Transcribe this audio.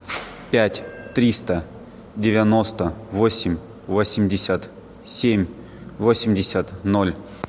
пять триста девяносто восемь восемьдесят семь восемьдесят ноль